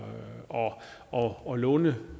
og og låneadgangen